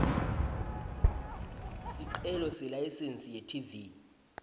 sicelo selayisensi yetv